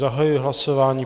Zahajuji hlasování.